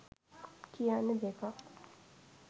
කියන්නෙ දෙකක්.